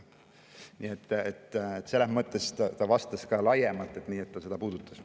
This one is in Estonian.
Nii et selles mõttes ta vastas ka laiemalt, seda ta puudutas.